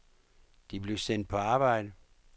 De blev sendt på arbejde.